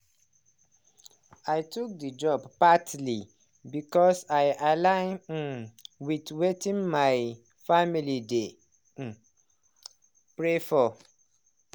i took the job partly because i align um with weitin my family dey um pray for.